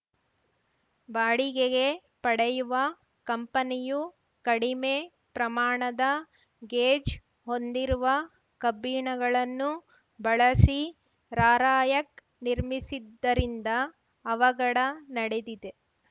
ಬಾಡಿಗೆಗೆ ಪಡೆಯುವ ಕಂಪನಿಯು ಕಡಿಮೆ ಪ್ರಮಾಣದ ಗೇಜ್‌ ಹೊಂದಿರುವ ಕಬ್ಬಿಣಗಳನ್ನು ಬಳಸಿ ರಾರ‍ಯಕ್‌ ನಿರ್ಮಿಸಿದ್ದರಿಂದ ಅವಘಡ ನಡೆದಿದೆ